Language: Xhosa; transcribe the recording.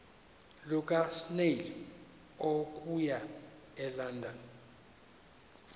lukasnail okuya elondon